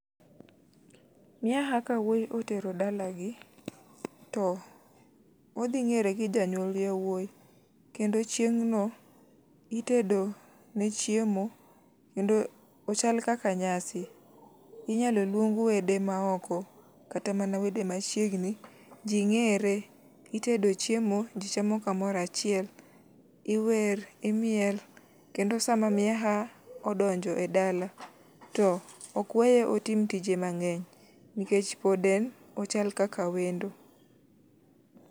Miaha ka wuoyi otero daagi, to odhi ng'ere gi jonyuol wuoyi, kendo chieng' no itedo nechiemo. Kendo ochal kaka nyasi. Inyalo luong wede maoko kata man wede machiegni. Ji ng'ere, itedo chiemo ji chamo kamoro achiel. Iwer, imiel kendo sama miyeha odonjo edala to ok weye otim tije mang'eny nikech ochal kaka wendo.